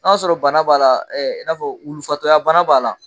Na y'a sɔrɔ bana b'a la i n'a fɔ wulufatɔya bana b'a la.